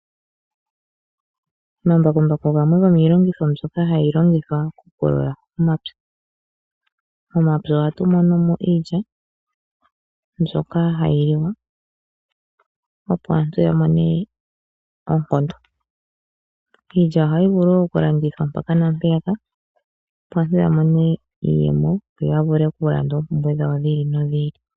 Omambakumbaku gamwe gomiilongitho mbyoka hayi longithwa okupulula omapya. Momapya ohatu mono mo iilya mbyoka hayi liwa, opo aantu ya mone oonkondo. Iilya ohayi vulu wo okulandithwa mpaka naa mpeyaka, opo aantu ya mone iiyemo yo ya vule okulanda oompumbwe dhawo dhi ili nodhi ili.